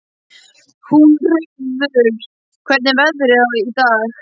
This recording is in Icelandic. Húnröður, hvernig er veðrið í dag?